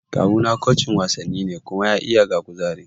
Kawuna kucin wasanni ne kuma ya iya ga kuzari